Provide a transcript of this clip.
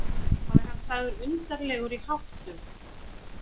Þá er hann sagður undarlegur í háttum.